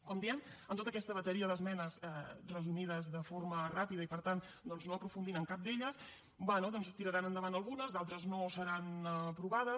com diem en tota aquesta bateria d’esmenes resumides de forma ràpida i per tant doncs no aprofundint en cap d’elles bé doncs en tiraran endavant algunes d’altres no seran aprovades